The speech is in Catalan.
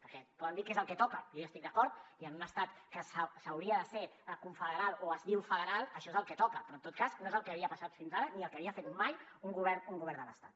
perquè poder dir què és el que toca i jo hi estic d’acord i a un estat que s’hauria de ser confederal o es diu federal això és el que toca però en tot cas no és el que havia passat fins ara ni el que havia fet mai un govern de l’estat